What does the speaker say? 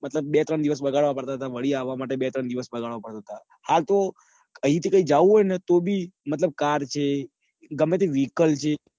મતલબ બે દિવસ બગાડવા પડતા હતા વાડી આવવા માટે બે દિવસ પડે હા તો અહી જવું હોય તો બી car છે. ગમે તે vehicle છે.